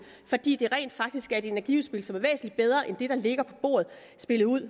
fordi det rent faktisk er et energiudspil som er væsentlig bedre end det der ligger på bordet spillet ud